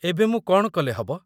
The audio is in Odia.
ଏବେ ମୁଁ କ'ଣ କଲେ ହବ?